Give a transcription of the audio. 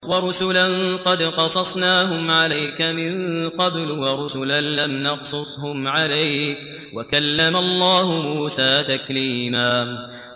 وَرُسُلًا قَدْ قَصَصْنَاهُمْ عَلَيْكَ مِن قَبْلُ وَرُسُلًا لَّمْ نَقْصُصْهُمْ عَلَيْكَ ۚ وَكَلَّمَ اللَّهُ مُوسَىٰ تَكْلِيمًا